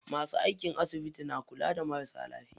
Masu aiki a asibiti na kula da marasa lafiya.